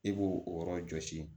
I b'o o yɔrɔ jɔsi